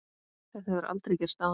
Þetta hefur aldrei gerst áður.